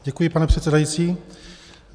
Děkuji, pane předsedající.